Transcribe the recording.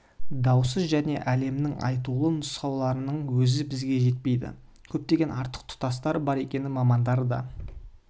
даусыз және әлемнің айтулы нұсқаларының өзі бізге жетпейді көптеген артық тұстары бар екенін мамандар да